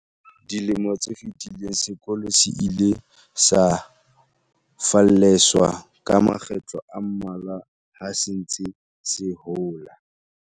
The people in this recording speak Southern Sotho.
Dilemo tse fetileng, sekolo se ile sa falleswa ka makgetlo a mmalwa ha se ntse se hola.